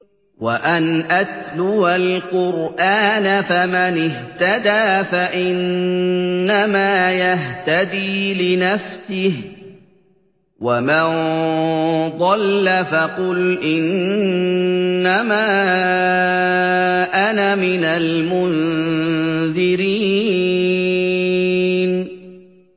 وَأَنْ أَتْلُوَ الْقُرْآنَ ۖ فَمَنِ اهْتَدَىٰ فَإِنَّمَا يَهْتَدِي لِنَفْسِهِ ۖ وَمَن ضَلَّ فَقُلْ إِنَّمَا أَنَا مِنَ الْمُنذِرِينَ